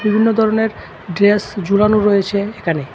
বিভিন্ন ধরনের ড্রেস ঝুলানো রয়েছে এখানে।